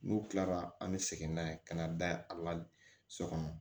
N'u kilara an bɛ segin n'a ye ka na da a la so kɔnɔ